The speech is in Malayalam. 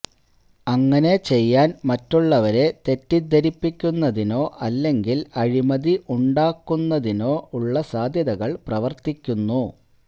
അങ്ങനെ ചെയ്യാൻ മറ്റുള്ളവരെ തെറ്റിദ്ധരിപ്പിക്കുന്നതിനോ അല്ലെങ്കിൽ അഴിമതി ഉണ്ടാക്കുന്നതിനോ ഉള്ള സാധ്യതകൾ പ്രവർത്തിക്കുന്നു